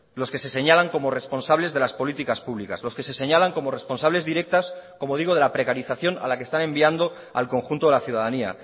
los que se señalan como responsables de las políticas públicas los que se señalan como responsables directas como digo de la precarización a la que están enviando al conjunto de la ciudadanía